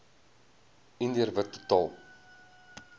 indiër wit totaal